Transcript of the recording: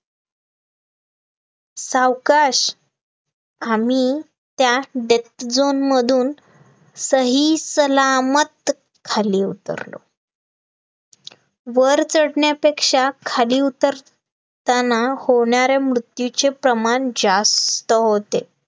वर चढण्यापेक्षा खाली उतरताना, होणाऱ्या मृत्यूचे प्रमाण जास्त होते